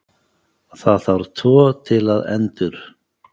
Það þarf tvo til að endur